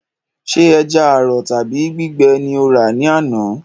Sé ẹja àrọ̀ tàbí gbígbẹ ni o rà ní àná?